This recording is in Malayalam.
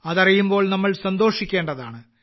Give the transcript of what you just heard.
അതറിയുമ്പോൾ നമ്മൾ സന്തോഷിക്കേണ്ടതാണ്